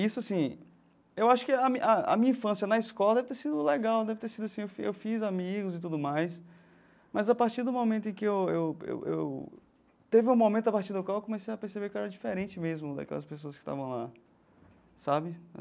Isso assim, eu acho que a a a minha infância na escola deve ter sido legal, deve ter sido assim eu eu fiz amigos e tudo mais, mas a partir do momento em que eu eu eu... teve um momento a partir do qual eu comecei a perceber que eu era diferente mesmo daquelas pessoas que estavam lá, sabe?